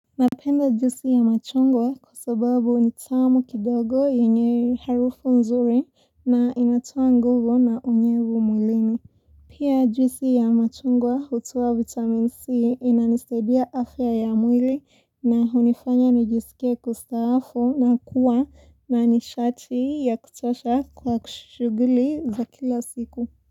Napenda juisi ya machungwa kwa sababu ni tamu kidogo yenye harufu nzuri na inatoa nguvu na unyevu mwilini. Pia juisi ya machungwa hutoa vitamin C inanisaidia afya ya mwili na hunifanya najisikia kustaafu na kuwa na nishati ya kuchosha kwa kushughuli za kila siku.